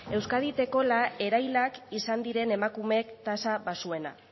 euskadik daukala erailak izan diren emakume tasa baxuena